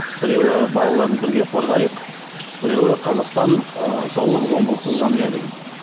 біреуі балаларды бірге қорғайық біреуі қазақстан ы зорлық зомбылықсыз жанұя деген